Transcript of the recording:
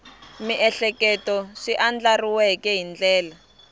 miehleketo swi andlariweke hi ndlela